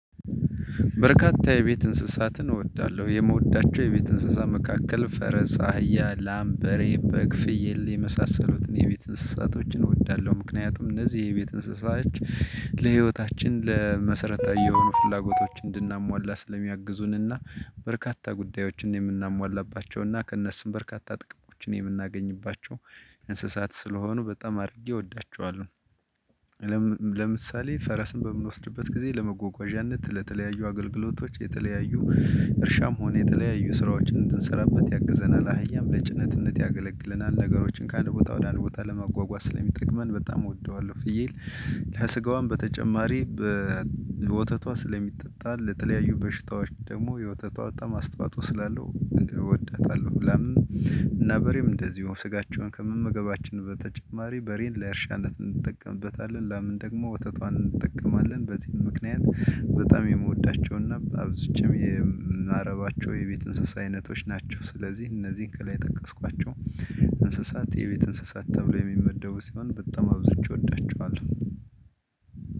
በርካታ የቤት እንስሳትን እወዳለሁ። የመውደድ የቤት እንስሳ መካከል :-ፈረስ አህያ: ላም:በሬ :በግ:ፍየል የመሳሰሉትን የቤት እንስሳቶችን እወዳለሁ። ምክንያቱም እነዚህ የቤት እንስሳች ለህይወታችን ለመሰረታዊ የሆኑ ፍላጎቶች እንድናሟላ ስለሚያግዙንና በርካታ ጉዳዮችን የምናሟላባቸውና ከእነሱም በርካታ ጥቅሞችን የምናገኝባቸው እንስሳት ስለሆኑ በጣም አድርጌ እወዳቸዋለሁ። ለምሳሌ ፈረስን በምንወስድበት ጊዜ ለመጓጓዣነት ለተለያዩ አገልግሎቶች የተለያዩ እርሻም ሆነ የተለያዩ ስራዎችን እንድንሰራበት ያግዘናል። አህያም ለጭነትነት ያገለግለናል። ነገሮችን ከአንድ ቦታ ወደ አንድ ቦታ ለማጓጓዝ ስለሚጠቅመን በጣም እወደዋለሁ። ፍየል- ከስጋዋም በተጨማሪ ወተቷ ስለሚጠጣ ለተለያዩ በሽታዎች ደግሞ የወተቷ በጣም አስታውፅኦ ስላለው እወዳታለሁ። ላም እና በሬም እንደዚሁ ስጋቸውን ከመመገባችን በተጨማሪ በሬን ለእርሻነት እንጠቀምበታለን። ላምን ደግሞ ወተቷን እንጠቀማለን። በዚህን ምክንያት- በጣም የምወዳቸውና አብዛኛው የምናረባቸው የቤት እንስሳ አይነቶች ናቸው። ስለዚህ እነዚህን ከላይ የጠቀስኳቸው እንስሳት የቤት እንስሳት ተብሎ የሚመደቡ ሲሆን በጣም አብዝቸ ወዳቸዋለሁ።